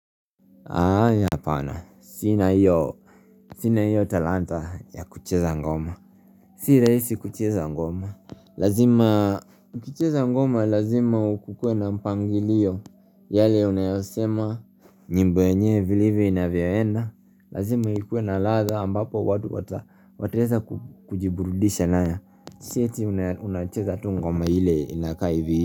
Apana sina iyo sina iyo talanta ya kucheza ngoma si raisi kucheza ngoma lazima UKIcheza ngoma lazima ukuwe na mpangilio yale unayosema nyimbo enyewe vilivyo inavyoyenda. Lazima ikuwe na ladha ambapo watu wata wataweza kujiburudisha nayo Sieti unacheza tu ngoma ile inakaa hivi.